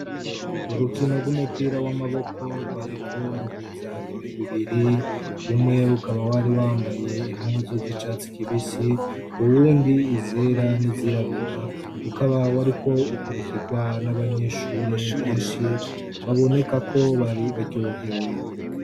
Urukino rw’umupira w’amaboko rwariko ruhuza imigwi ibiri umwe ukaba wari wambaye impuzu z’icatsi kibisi uwundi izera nizirabura ukaba wariko ukurikirwa n’abanyeshure benshi baboneka ko bari baryohewe.